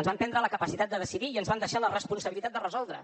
ens van prendre la capacitat de decidir i ens van deixar la responsabilitat de resoldre